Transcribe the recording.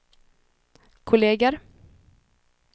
kolleger